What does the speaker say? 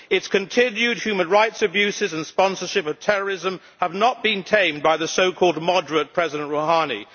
Its continued human rights abuses and sponsorship of terrorism have not been tamed by the so called moderate President Rouhani.